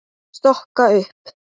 Stokka upp.